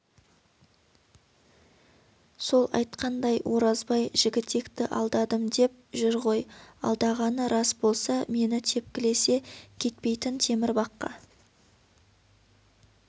сол айтқандай оразбай жігітекті алдадым деп жүр ғой алдағаны рас болса мені тепкілесе кетпейтін темір баққа